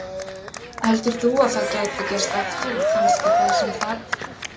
Heldur þú að það gæti gerst aftur og kannski það sem þarf?